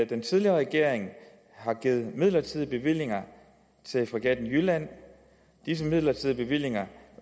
den tidligere regering har givet midlertidige bevillinger til fregatten jylland og disse midlertidige bevillinger